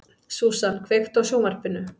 Susan, kveiktu á sjónvarpinu.